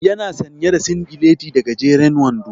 Ya na sanye da singileti da gajeren wando.